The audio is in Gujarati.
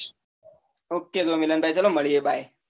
Okay તો ચાલો મળીયે મિલન ભાઈ bye